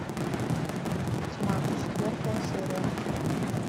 тьма четвертая серия